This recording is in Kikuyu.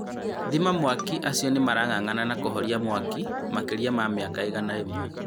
Thima mwaki acio nĩ marang'ang'ana na kũhoria mwaki makĩria ma mĩaki igana rĩmwe.